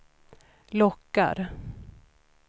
lockar